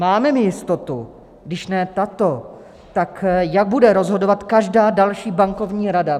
Máme my jistotu, když ne tato, tak jak bude rozhodovat každá další bankovní rada?